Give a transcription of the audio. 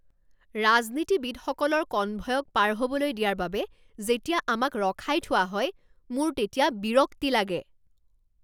ৰাজনীতিবিদসকলৰ কনভয়ক পাৰ হ'বলৈ দিয়াৰ বাবে যেতিয়া আমাক ৰখাই থোৱা হয় মোৰ তেতিয়া বিৰক্তি লাগে।